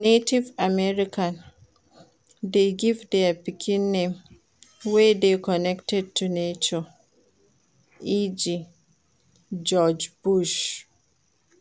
Native American de give their pikin name wey de connected to nature e.g. George Bush